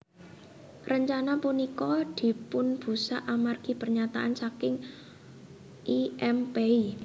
Rencana punika dipunbusak amargi pernyataan saking I M Pei